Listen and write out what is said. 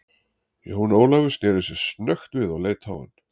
Jón Ólafur sneri sér snöggt við og leit á hann.